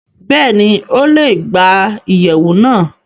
Bẹ́ẹ̀ni, Ó le gba iyẹwu náa